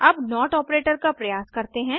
अब not operator का प्रयास करते हैं